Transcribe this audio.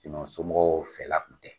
somɔgɔw fɛla kun tɛ